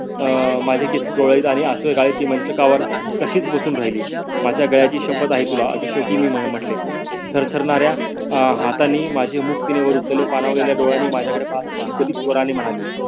अं माझे केस कुरडत आणि आसवे गळत ती मंचकावर तशीच बसून राहिली माझ्या गळ्याची शपथ आई तुला असे शेवटी मी म्हटले थार्थरणाऱ्य अं हाथांनी माझे मुख ती वर उचलले पानवलेल्या डोळ्यांनी पाहत थकठकीत स्वरांनी ती म्हणाली.